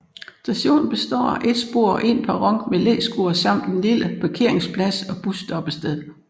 Stationen består af et spor og en perron med læskur samt en lille parkeringsplads og busstoppested